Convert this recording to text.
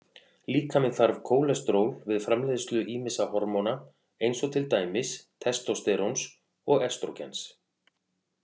Líkaminn þarf kólesteról við framleiðslu ýmissa hormóna eins og til dæmis testósteróns og estrógens.